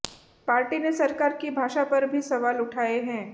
party ने सरकार की भाषा पर भी सवाल उठाए हैं